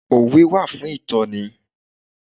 Òwe wà fún ìtọ́ni.